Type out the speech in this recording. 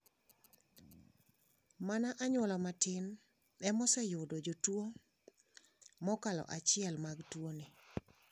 Mana anyuola matin emaoseyudi jotuo mokalo achiel mag tuoni.